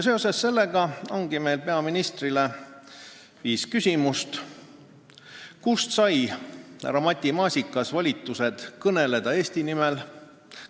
Seoses sellega ongi meil peaministrile viis küsimust: "Kust sai Matti Maasikas volitused kõneleda Eesti nimel?